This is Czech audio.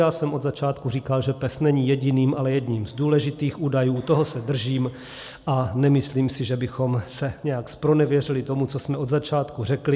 Já jsem od začátku říkal, že PES není jediným, ale jedním z důležitých údajů, toho se držím a nemyslím si, že bychom se nějak zpronevěřili tomu, co jsme od začátku řekli.